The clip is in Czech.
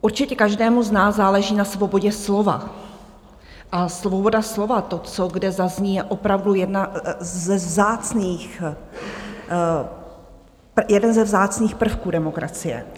Určitě každému z nás záleží na svobodě slova a svoboda slova, to, co kde zazní, je opravdu jeden ze vzácných prvků demokracie.